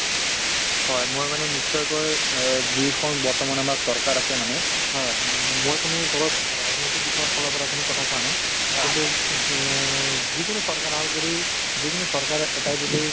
হয় মই মানে নিশ্চয়কৈ অ যিখন বৰ্তমান আমাৰ চৰকাৰ আছে মানে উম মই কোনো দলক ৰাজনৈতিক দিশৰফালৰ পৰা কোনো কথা কোৱা নাই কিন্তু অ যিকোনো চৰকাৰ আহক যদি যিকোনো চৰকাৰে এটাই যদি